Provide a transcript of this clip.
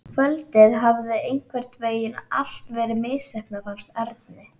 Kvöldið hafði einhvern veginn allt verið misheppnað, fannst Erni.